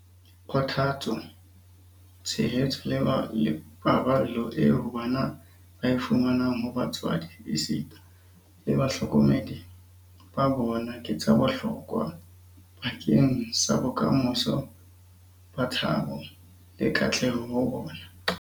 Kgothatso, tshehetso le paballo eo bana ba e fumanang ho batswadi esita le bahlokomedi ba bona ke tsa bohlokwa bakeng sa bokamoso ba thabo le katleho ho bona.